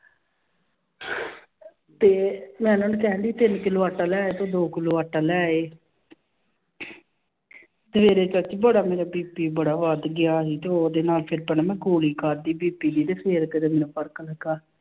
ਤੇ ਮੈਂ ਉਹਨਾਂ ਨੂੰ ਕਹਿਣਡੀ ਤਿੰਨ ਕਿੱਲੋ ਆਟਾ ਲੈ ਆਇਓ ਤੇ ਦੋ ਕਿੱਲੋ ਆਟਾ ਲੈ ਆਏ ਸਵੇਰੇ ਚਾਚੀ ਬੜਾ ਮੇਰਾ BP ਬੜਾ ਵੱਧ ਗਿਆ ਸੀ ਤੇ ਉਹਦੇ ਨਾਲ ਫਿਰ ਪਹਿਲਾਂ ਮੈਂ ਗੋਲੀ ਖਾਦੀ BP ਦੀ ਤੇ ਫਿਰ ਕਿਤੇ ਮੈਨੂੰ ਫ਼ਰਕ ਲੱਗਾ।